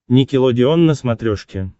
никелодеон на смотрешке